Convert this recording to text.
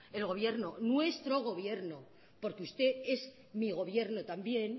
nuestro gobierno porque usted es mi gobierno también